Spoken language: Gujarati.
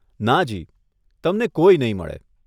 નાજી, તમને કોઈ નહીં મળે.